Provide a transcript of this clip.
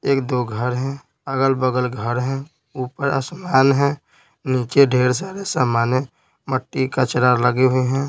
एक दो घर हैं अगल-बगल घर हैं ऊपर आसमान है नीचे ढेर सारे सामान है मट्टी कचरा लगे हैं।